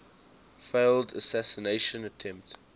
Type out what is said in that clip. failed assassination attempt